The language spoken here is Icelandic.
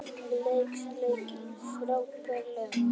Les leikinn frábærlega